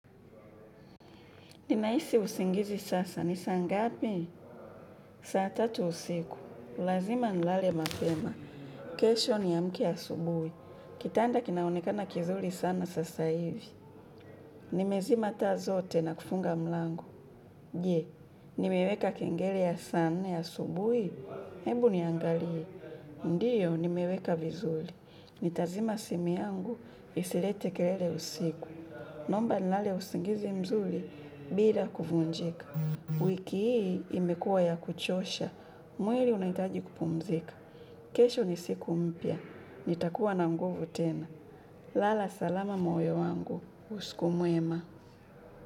Ninahisi usingizi sasa. Ni saa ngapi? Saa tatu usiku. Lazima nilale mapema. Kesho niamke asubuhi. Kitanda kinaonekana kizuri sana sasa hivi. Nimezima taa zote na kufunga mlango. Je, nimeweka kengele ya saa nne asubuhi. Hebu niangalie. Ndiyo, nimeweka vizuri. Nitazima simu yangu, isilete kelele usiku. Naomba nilale usingizi mzuri, bila kuvunjika. Wiki hii imekuwa ya kuchosha, mwili unahitaji kupumzika. Kesho ni siku mpya, nitakuwa na nguvu tena. Lala salama moyo wangu, usiku mwema.